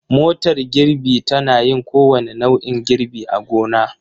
Motar girbi tana yin kowane nau'in girbi a gona.